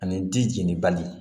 Ani ji jeni bali